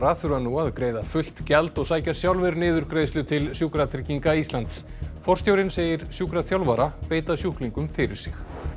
þurfa nú að greiða fullt gjald og sækja sjálfir niðurgreiðslu til Sjúkratrygginga Íslands forstjórinn segir sjúkraþjálfara beita sjúklingum fyrir sig